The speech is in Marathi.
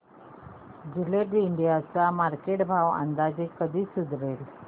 जिलेट इंडिया चा मार्केट भाव अंदाजे कधी सुधारेल